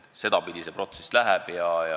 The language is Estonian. Sedapidi see protsess käib.